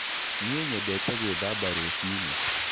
Nĩ nyendete gwĩthamba rũcinĩ.